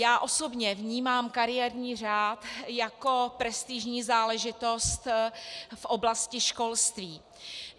Já osobně vnímám kariérní řád jako prestižní záležitost v oblasti školství.